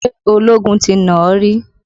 Ṣé ológun ti nà ó rí?